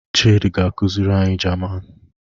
Chidi ga-akuziri anyi Jaman.